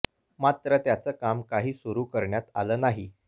मात्र त्याचं काम काही सुरु करण्यात आलं नाही